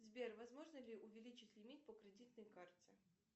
сбер возможно ли увеличить лимит по кредитной карте